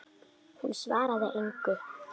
Hún svaraði engu.